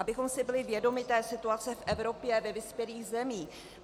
Abychom si byli vědomi té situace v Evropě ve vyspělých zemích.